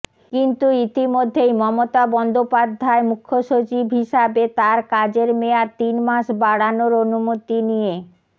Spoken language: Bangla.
কিন্তু ইতিমধ্যেই মমতা বন্দ্যোপাধ্যায় মুখ্যসচিব হিসাবে তাঁর কাজের মেয়াদ তিন মাস বাড়ানোর অনুমতি নিয়ে